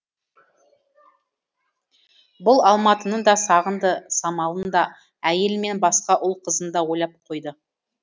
бұл алматыны да сағынды самалын да әйелі мен басқа ұл қызын да ойлап қойды